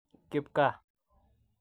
Kipgaa.